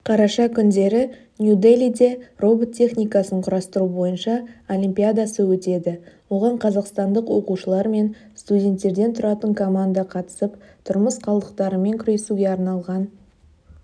қараша күндері нью-делиде робот техникасын құрастыру бойынша олимпиадасы өтеді оған қазақстандық оқушылар мен студенттерден тұратын команда қатысып тұрмыс қалдықтарымен күресуге арналған